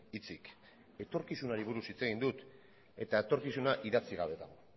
hitzik etorkizunari buruz hitz egin dut eta etorkizuna idatzi gabe dago